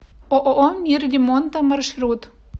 ооо мир ремонта маршрут